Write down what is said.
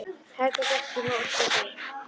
Helga gekk til móts við þau.